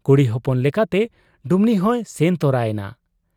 ᱠᱩᱲᱤ ᱦᱚᱯᱚᱱ ᱞᱮᱠᱟᱛᱮ ᱰᱩᱢᱱᱤᱦᱚᱸᱭ ᱥᱮᱱ ᱛᱚᱨᱟ ᱮᱱᱟ ᱾